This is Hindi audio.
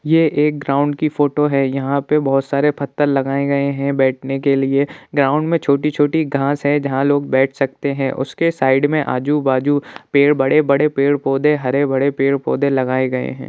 यह एक ग्राउंड की फोटो है| यहाँ पर बहुत सारे पत्थर लगाए गए हैं बैठने के लिए गांव में छोटी-छोटी घास है जहां लोग बैठ सकते हैं| उसके साइड में आजू-बाजू पेड़ बड़े-बड़े पेड़-पौधे हरे-भरे पेड़-पौधे लगाए गए हैं।